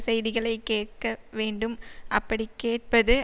செய்திகளைக் கேட்க வேண்டும் அப்படிக் கேட்பது